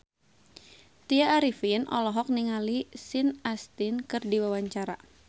Tya Arifin olohok ningali Sean Astin keur diwawancara